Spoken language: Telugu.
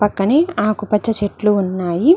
పక్కని ఆకు పచ్చ చెట్లు ఉన్నాయి.